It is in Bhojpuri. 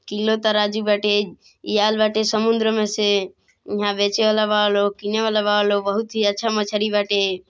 किलो तराजू बाटे इ आइल बाटे समुद्र में से इहा बेचे वाला बा लोग किने वाला बा लोग बहुत ही अच्छा मछली बाटे।